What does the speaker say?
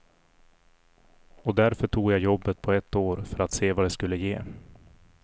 Och därför tog jag jobbet på ett år för att se vad det skulle ge.